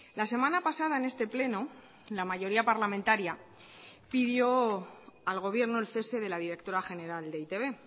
la semana pasada en este pleno la mayoría parlamentaria pidió al gobierno el cese de la directora general de e i te be